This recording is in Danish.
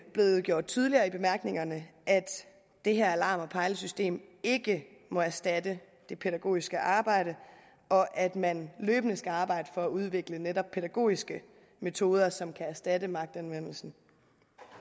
blevet gjort tydeligt i bemærkningerne at det her alarm og pejlesystem ikke må erstatte det pædagogiske arbejde og at man løbende skal arbejde for at udvikle netop pædagogiske metoder som kan erstatte magtanvendelsen